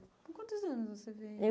Quantos anos você veio? Eu